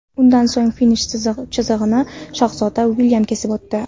Undan so‘ng finish chizig‘ini shahzoda Uilyam kesib o‘tdi.